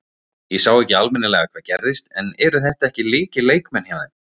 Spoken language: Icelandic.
Ég sá ekki almennilega hvað gerðist en eru þetta ekki lykilleikmenn hjá þeim?